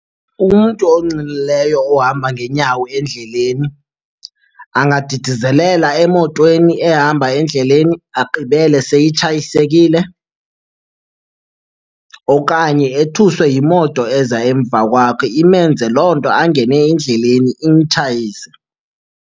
Umntu onxilileyo ohamba ngeenyawo endleleni angadidizelela emotweni ehamba endleleni, agqibele seyitshayisekile. Okanye ethuswe yimoto eza emva kwakhe, imenze loo nto angene endleleni imtshayise.